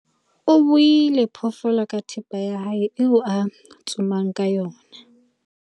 o buile phoofolo ka thipa ya hae eo a tsomang ka yona